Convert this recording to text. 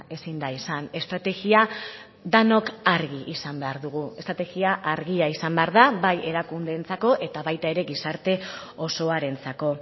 ezin da izan estrategia denok argi izan behar dugu estrategia argia izan behar da bai erakundeentzako eta baita ere gizarte osoarentzako